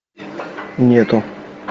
нету